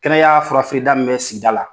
Kɛnɛya fura feere da min bɛ sigida la.